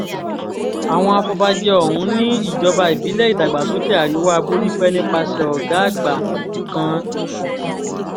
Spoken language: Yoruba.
àwọn afọbajẹ ọ̀hún ni ìjọba ìbílẹ̀ ìdàgbàsókè àríwá borípé nípasẹ̀ ọ̀gá àgbà kan d